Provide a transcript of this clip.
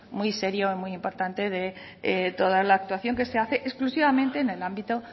muy serio y muy importante de toda la actuación que se hace exclusivamente en el ámbito